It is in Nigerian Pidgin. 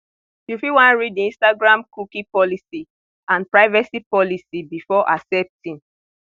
you fit wan read di instagram cookie policy and privacy policy before accepting